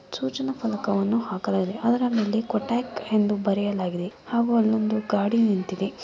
ಸೂಚನಾ ಫಲಕವನ್ನು ಹಾಕಲಾಗಿದೆ ಅದರ ಮೇಲೆ ಕೋಟೆಕ್ ಅಂತ ಬರೆಯಲಾಗಿದೆ ಆಗುವ ಅಲ್ಲೊಂದು ಗಾಡಿ ನಿಂತಿದೆ.